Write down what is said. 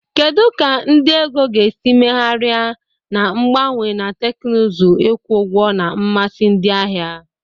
Kedu ka ndị ego ga-esi megharia na mgbanwe na teknụzụ ịkwụ ụgwọ na mmasị ndị ahịa?